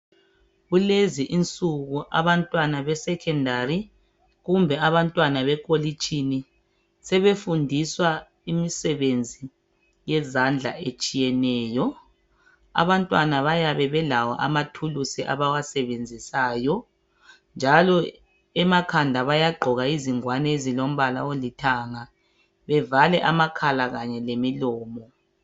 kulezi insuku abantwana be secendary kumbe abantwana basekolitshini sebefundiswa imisebenzi yezandla etshiyeneyo abantwana bayabe belawo ama thulusi abawasebenzisayo njalo emakhanda bayagqoka izingwani ezilombala olithanga bevale amakhala lemilomo